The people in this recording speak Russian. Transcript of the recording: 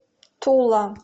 тула